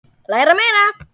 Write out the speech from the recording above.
Læra meira.